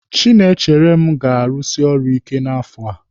Chinaechere m ga-arusi ọrụ ike n'afọ.